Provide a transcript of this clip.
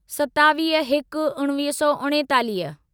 सतावीह हिक उणिवीह सौ उणेतालीह